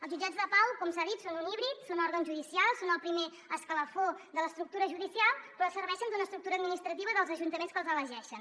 els jutjats de pau com s’ha dit són un híbrid són òrgans judicials són el primer escalafó de l’estructura judicial però serveixen d’una estructura administrativa dels ajuntaments que els elegeixen